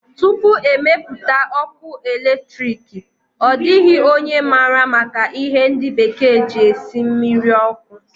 Tupu e mepụta ọkụ eletriki, ọ dịghị onye maara maka ihe ndi bekee ji esi mmiri ọkụ